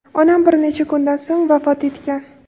Onam bir necha kundan so‘ng vafot etgan.